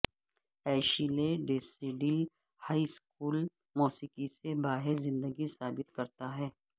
Ashley Tisdale high school موسیقی سے باہر زندگی ثابت کرتا ہے